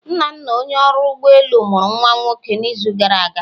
Nnanna Onye ọrụ ụgbọ elu, mụrụ nwa nwoke n'izu gara aga.